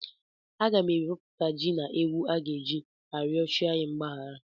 Aga m arọpụta ji na ewu a ga-eji arịọ chi anyị mgbahara.